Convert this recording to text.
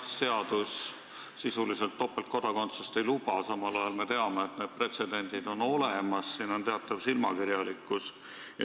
Seadus meil sisuliselt topeltkodakondsust ei luba, samal ajal me teame, et pretsedendid on olemas – see on teatav silmakirjalikkus.